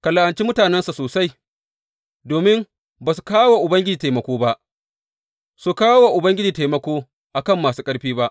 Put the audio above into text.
Ka la’anci mutanensa sosai, domin ba su kawo wa Ubangiji taimako ba, su kawo wa Ubangiji taimako a kan masu ƙarfi ba.’